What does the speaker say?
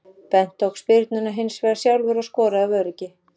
Bent tók spyrnuna hinsvegar sjálfur og skoraði af öryggi.